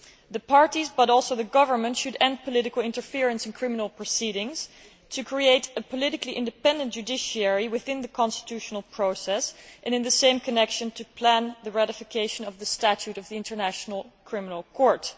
The parties but also the Government should end political interference in criminal proceedings to create a politically independent judiciary within the constitutional process and, in the same connection, to plan the ratification of the Statute of the International Criminal Court.